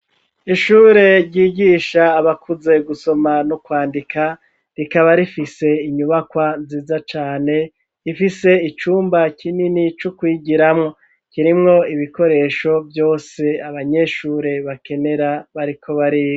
Ishure ryigisha abakuze gusoma no kwandika rikaba rifise inyubakwa nziza cane ifise icumba kinini c'ukwigiramwo kirimwo ibikoresho vyose abanyeshure bakenera bariko bariga.